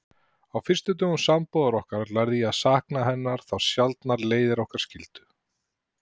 Á fyrstu dögum sambúðar okkar lærði ég að sakna hennar þá sjaldan leiðir okkar skildi.